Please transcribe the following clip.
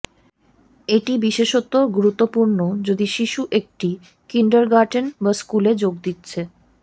এটি বিশেষত গুরুত্বপূর্ণ যদি শিশু একটি কিন্ডারগার্টেন বা স্কুলে যোগ দিচ্ছে